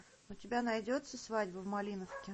у тебя найдется свадьба в малиновке